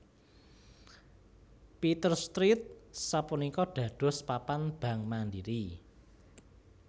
Peters Street sapunika dados papan bank Mandiri